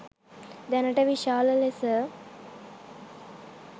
දැනට විශාල ලෙස